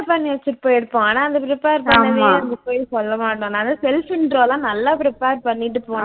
பண்ணி வச்சுட்டு போயிருப்போம் ஆனா அந்த prepare பண்ணதயே அங்க போய் சொல்ல மாட்டோம் நான்லாம் self intro லாம் நல்லா prepare பண்ணிட்டு போனேன்